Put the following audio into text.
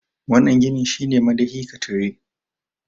wannan ginin shi ne madahi ka tire